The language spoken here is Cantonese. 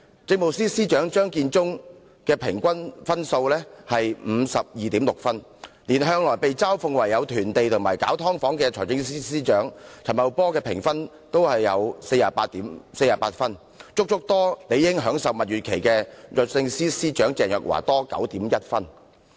政務司司長張建宗的平均得分是 52.6， 連向來被嘲諷囤地及搞"劏房"的財政司司長陳茂波的評分也有 48.0， 較理應正在享受蜜月期的律政司司長鄭若驊還要高 9.1 分。